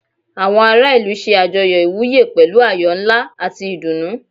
Àwọn ará ìlú ṣe àjọyọ̀ ìwúyè pẹ̀lú ayọ̀ ńlá àti ìdùnnú.